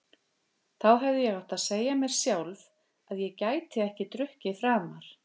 Þá hefði ég átt að segja mér sjálf að ég gæti ekki drukkið framar.